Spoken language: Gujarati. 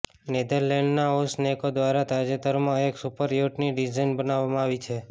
નેધરલેન્ડના ઓસનેકો દ્વારા તાજેતરમાં એક સુપર યોટની ડિઝાઈન બનાવવામાં આવી છે